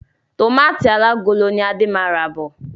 Tọmatì alágolo ni Adé máa ra bọ̀.